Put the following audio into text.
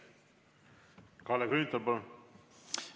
Kalle Grünthal, palun!